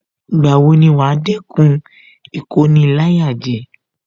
Ìgbà wo ni wàá dẹ́kun Ìkoni-láyàjẹ